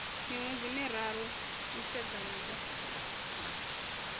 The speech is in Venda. miṅwedzi miraru u sedzana na